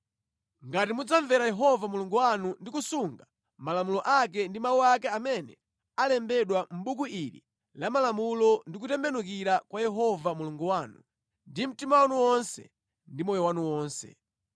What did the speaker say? ngati mudzamvera Yehova Mulungu wanu ndi kusunga malamulo ake ndi mawu ake amene alembedwa Mʼbuku ili la Malamulo ndi kutembenukira kwa Yehova Mulungu wanu ndi mtima wanu wonse ndi moyo wanu wonse.